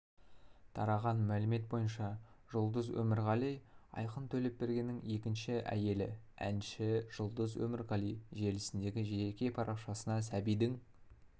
тараған мәлімет бойынша жұлдыз өмірғали айқын төлепбергеннің екінші әйелі әнші жұлдыз өмірғали желісіндегі жеке парақшасына сәбидің